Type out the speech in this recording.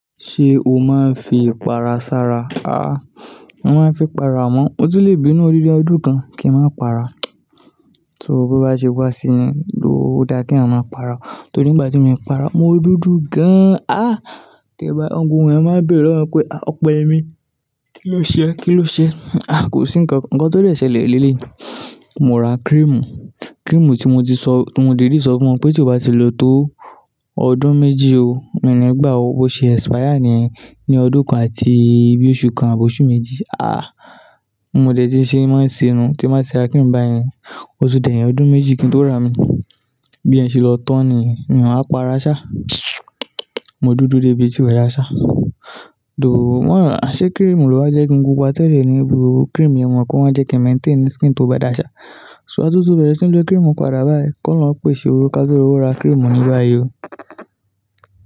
Ṣé o máa ń fi ìpara ṣára? A, mo máa ń fi para amó. Mo ti lè bí inú òdída ọdún kan kí n máa para. So bo bá ṣe wá sí ni, lóò o da kí a eyan ma para. Torí ìgbà tí mo para, mo dúdú gan an. Tẹ ba gbogbo eyan máa ń béèrè lọ́wọ́ pé "à, Ọpẹ́yemi, kí ló ṣe e? Kí ló ṣe e?" A, kò sí ǹkan. Ǹkan tó lè ṣẹlẹ̀ nílẹ̀ yìí, mo ra cream. Cream tí mo ti sọ, timo didi sọ fún won pé tí o bá ti lò ó tó ọdún méjì o, ìní gbà a ó, bose expire ní, ní ọdún kan àti bi oṣù kan àbí oṣù méjì. A, mo dẹ̀ tí ń ṣe ẹ máa ń ṣe nu, tí n ba tira cream bayẹn, o tun di eyin ọdún méjì kí n tó rà á mi. Bí yen ṣe lọ tán niyen, mi wa para ṣá. Mo dúdú dé bi tí wẹ́ẹ́ rà á ṣá. Dòòh, wọ̀n ń rà á, aṣé cream ló wa jẹ́ ń kin pupa tẹ́lẹ̀ ní ibi cream yẹn wọ́n máa ń jẹ́ kí maintain skin tó bá dá ṣá. So atitun bẹ̀rẹ̀ sí ń lo cream pada báyìí ki olohun pèsè owó ká rowọ́ ra cream ní ba yìí o.